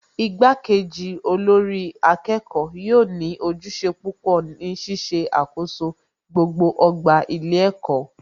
Ìgbà kejì olórí akẹ́kọ̀ọ́ yóò ní ojúṣe púpọ̀ si Ṣíṣe àkoso gbogbo ọgbà ilé ẹ̀kọ́